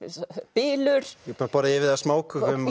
bylur búinn að borða yfir þig af smákökum